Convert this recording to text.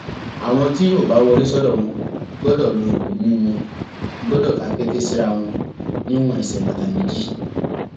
àwọn tí yóò bá wọlé sọdọ wọn gbọdọ lo ìbomú wọn gbọdọ tàkété síra wọn níwọn ẹsẹ bàtà méjì